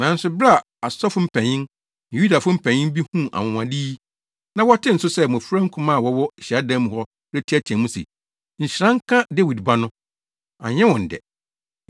Nanso bere a asɔfo mpanyin ne Yudafo mpanyin bi huu anwonwade yi na wɔtee nso sɛ mmofra nkumaa a wɔwɔ hyiadan mu hɔ reteɛteɛ mu se, “Nhyira nka Dawid Ba no” no, anyɛ wɔn dɛ.